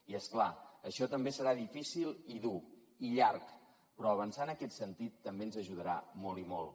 i és clar això també serà difícil i dur i llarg però avançar en aquest sentit també ens ajudarà molt i molt